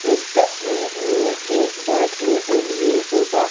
इस तस्वीर में एक बैठने के लिए सोफा --